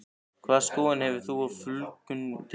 Hvaða skoðun hefur þú á fjölgun í deildinni?